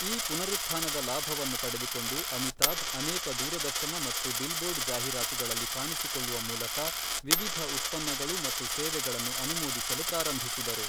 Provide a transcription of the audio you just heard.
ಈ ಪುನರುತ್ಥಾನದ ಲಾಭವನ್ನು ಪಡೆದುಕೊಂಡು, ಅಮಿತಾಭ್ ಅನೇಕ ದೂರದರ್ಶನ ಮತ್ತು ಬಿಲ್ಬೋರ್ಡ್ ಜಾಹೀರಾತುಗಳಲ್ಲಿ ಕಾಣಿಸಿಕೊಳ್ಳುವ ಮೂಲಕ ವಿವಿಧ ಉತ್ಪನ್ನಗಳು ಮತ್ತು ಸೇವೆಗಳನ್ನು ಅನುಮೋದಿಸಲು ಪ್ರಾರಂಭಿಸಿದರು.